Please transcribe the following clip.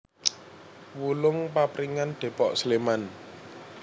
Wulung Papringan Depok Sleman